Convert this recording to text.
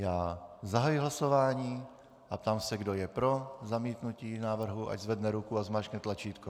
Já zahajuji hlasování a ptám se, kdo je pro zamítnutí návrhu, ať zvedne ruku a zmáčkne tlačítko.